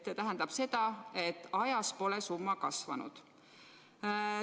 See tähendab seda, et aja jooksul pole summa kasvanud.